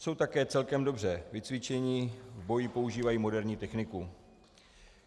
Jsou také celkem dobře vycvičeni, v boji používají moderní techniku.